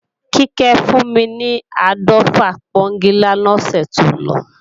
Kíkẹ́ fún mi ni áàdọ́fà pọ́ńgilá lọ́sẹ̀ tó lọ